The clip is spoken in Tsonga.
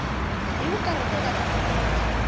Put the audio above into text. hi ku karhateka ka muendli